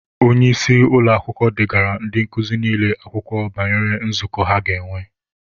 Onye isi ụlọakwụkwọ degaara ndị nkuzi niile akwụkwọ banyere nzukọ ha ga-enwe.